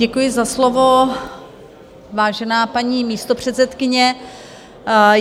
Děkuji za slovo, vážená paní místopředsedkyně.